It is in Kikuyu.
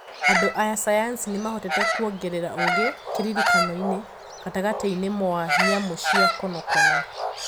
Andũ a sayansi nimahotete kuongerera ũgi kiririkaño gatagati-ini mwa nyamu cia konokono